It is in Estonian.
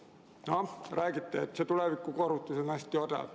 Jah, räägiti, et see tulevikukohustus on hästi odav.